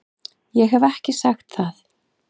Ég hef ekki sagt það!